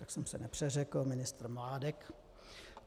Já jsem se nepřeřekl, ministr Mládek.